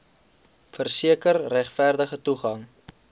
verseker regverdige toegang